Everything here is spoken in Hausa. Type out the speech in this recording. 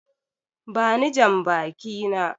Bani jambaki na!